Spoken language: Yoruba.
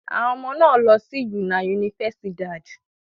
Àwọn ọmọ náà lọ sí una universidad.